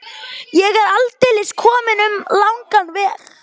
Ég er aldeilis kominn um langan veg.